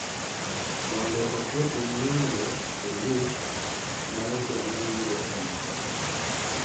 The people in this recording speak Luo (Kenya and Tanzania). Mondo oket nyinge e list mar joma biro e nyasi .